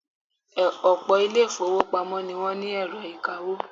Ọ̀pọ̀ ilé-ìfowópamọ́ ni wọ́n ní ẹ̀rọ ìkawó.